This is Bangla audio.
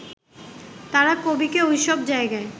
তাঁরা কবিকে ওই সব জায়গায়